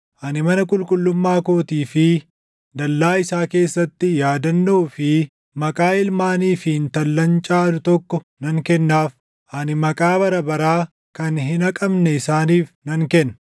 ani mana qulqullummaa kootii fi dallaa isaa keessatti yaadannoo fi maqaa ilmaanii fi intallan caalu tokko nan kennaaf; ani maqaa bara baraa kan hin haqamne isaaniif nan kenna.